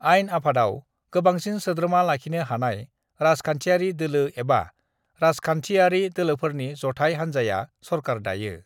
आइन आफादाव गोबांसिन सोद्रोमा लाखिनो हानाय राजखान्थियारि दोलो एबा राजखान्थियारि दोलोफोरनि जथाय हान्जाया सरकार दायो।